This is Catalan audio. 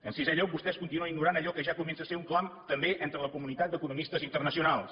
en sisè lloc vostès continuen ignorant allò que ja comença a ser un clam també entre la comunitat d’economistes internacionals